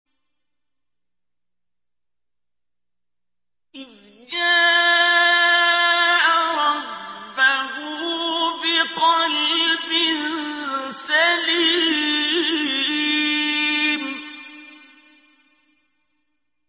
إِذْ جَاءَ رَبَّهُ بِقَلْبٍ سَلِيمٍ